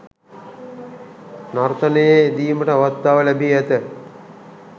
නර්තනයේ යෙදීමට අවස්ථාව ලැබී ඇත